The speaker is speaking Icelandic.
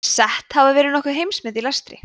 sett hafa verið nokkur heimsmet í lestri